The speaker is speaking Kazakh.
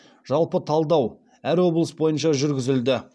жалпы талдау әр облыс бойынша жүргізілді